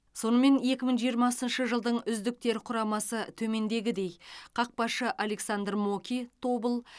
сонымен екі мың жиырмасыншы жылдың үздіктер құрамасы төмендегідей қақпашы александр моки тобыл